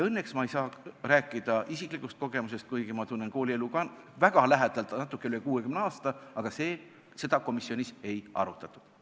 Õnneks ei saa ma rääkida isiklikust kogemusest, kuigi ma tunnen koolielu väga lähedalt natukene üle 60 aasta, aga seda komisjonis ei arutatud.